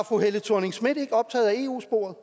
fru helle thorning schmidt ikke optaget af eu sporet